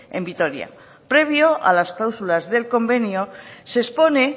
en vitoria previo a las cláusulas del convenio se expone